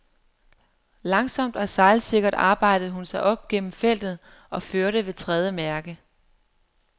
Langsomt og sejlsikkert arbejdede hun sig op gennem feltet og førte ved tredje mærke.